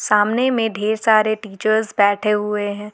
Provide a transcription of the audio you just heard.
सामने में ढेर सारे टीचर्स बैठे हुए हैं।